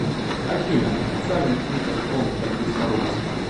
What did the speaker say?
афина официальный твиттер фонд борьбы с коррупцией